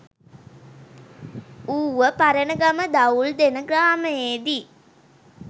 Uva Paranagama Dawuldena ග්‍රාමයේදී